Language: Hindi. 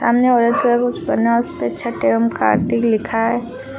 सामने ऑरेंज कलर का कुछ बना है उस पे छठ एवं कार्तिक लिखा है।